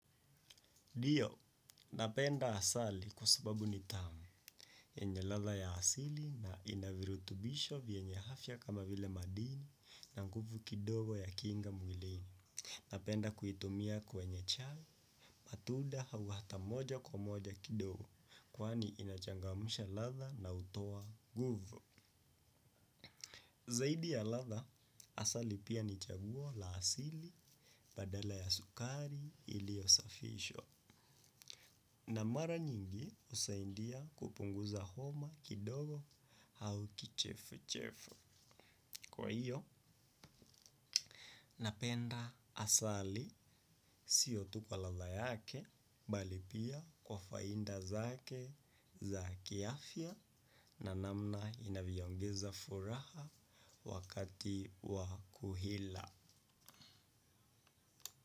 Diyo, napenda asali kusababu ni tamu, yenye latha ya asili na inavirutubisho vienye hafya kama vile madini na nguvu kidogo ya kinga mwilini. Napenda kuitumia kwenye chai, matuda hawa hata moja kwa moja kidogo, kwani inachangamsha latha na utowa guvu. Zaidi ya latha, asali pia nichabuo la asili badala ya sukari ilio safishwa. Na mara nyingi usaindia kupunguza homa kidogo hauki chifu chifu. Kwa hiyo, napenda asali siotu kwa latha yake, bali pia kwa fainda zake za kiafia na namna inavio ongeza furaha wakati wakuhila.